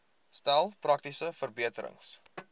stel praktiese verbeterings